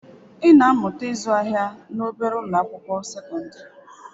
Ị na-amụta ịzụ ahịa na obere ụlọ akwụkwọ sekọndrị.